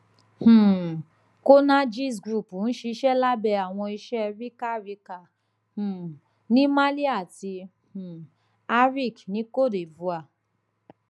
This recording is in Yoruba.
um conergiesgroup n ṣiṣẹ labẹ awọn iṣẹ rica rica um ni mali ati um aric ni côte divoire